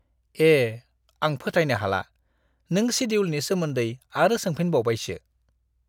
ए!, आं फोथायनो हाला नों सेडिउलनि सोमोन्दै आरो सोंफिनबावबायसो!